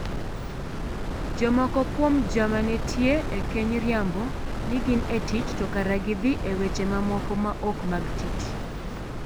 Jomoko kuom jama nitie e keny riambo ni gin e tich to kare gidhii e weche mamoko ma ok mag tich.